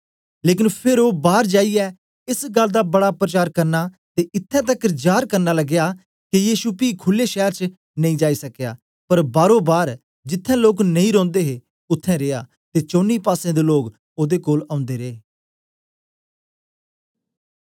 लेकन फेर ओ बार जाईयै एस गल्ल दा बड़ा प्रचार करना ते इत्त्थैं तकर जार करन लगया के यीशु पी खुल्ला शैर च नेई जाई सकया पर बारोबार जिथें लोक नेई रौंदे हे उत्थें रीआ ते चौनी पासें दे लोक ओदे कोल औंदे रे